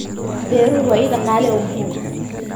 Beeruhu waa il dhaqaale oo muhiim ah.